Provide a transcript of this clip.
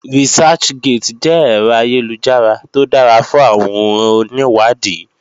Researchgate jẹ́ ẹ̀rọ ayélujára tó dára fún àwọn onìwádìí